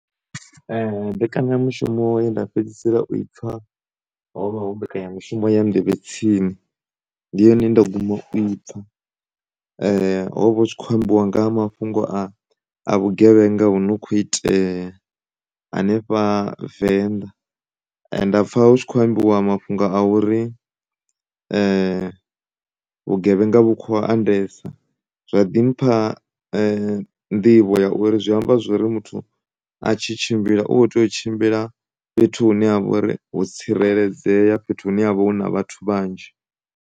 Mbekanyamushumo ye nda fhedzisela u i pfha hovha hu mbekanyamushumo ya nḓevhetsini ndi yone ye nda guma u i pfha ho vha hu tshi kho ambiwa nga ha mafhungo a vhugevhenga hu no kho itea hanefha venḓa, nda pfha hu tshi kho ambiwa mafhungo a uri vhugevhenga vhu kho andesa zwa ḓi mpha nḓivho ya uri zwi amba zwori muthu a tshi tshimbila u kho tea u tshimbila fhethu hune ha vhori ho tsireledzea, fhethu hune havha hu na vhathu vhanzhi.